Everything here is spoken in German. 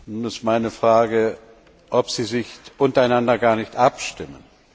Nun ist meine Frage, ob Sie sich untereinander gar nicht abstimmen.